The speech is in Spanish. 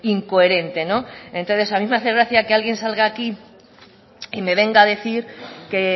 incoherente entonces a mí me hace gracia que alguien salga aquí y me venga a decir que